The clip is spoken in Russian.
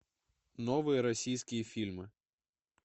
новые российские фильмы